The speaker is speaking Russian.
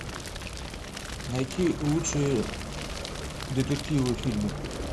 найти лучшие детективы фильмы